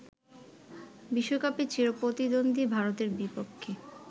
বিশ্বকাপে চিরপ্রতিদ্বন্দ্বী ভারতের বিপক্ষে